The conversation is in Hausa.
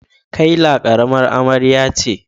Kayla karamar amarya ce.